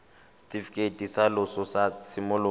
setifikeiti sa loso sa tshimologo